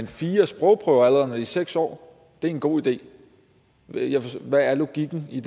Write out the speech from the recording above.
fire sprogprøver allerede når de er seks år er en god idé hvad er logikken i